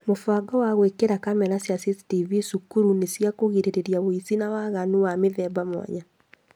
Mũbango wa gwĩkĩra kamera cia CCTV cukuru nĩ cia kũgirĩrĩria ũici na waganu wa mĩthemba mwanya